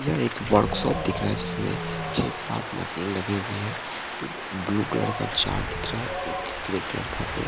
यह एक वर्कशॉप दिख रहा है जिसमें छह सात मशीन लगी हुई है एक ब्लू कलर का जार दिख रहा है एक ग्रे कलर का एक--